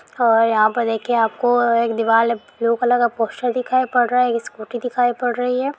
आा यहाँ पर देखिए आपको एक दीवाल ब्लू कलर का पोस्टर दिखाई पड रा है एक स्कूटी दिखाई पड़ रही है।